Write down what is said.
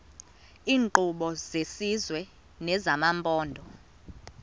iinkqubo zesizwe nezamaphondo